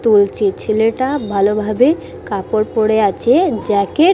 তুলছে ছেলেটা ভালোভাবে কাপড় পরে আছে জ্যাকে--